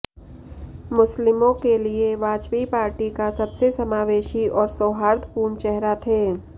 मुस्लिमों के लिए वाजपेयी पार्टी का सबसे समावेशी और सौहार्दपूर्ण चेहरा थे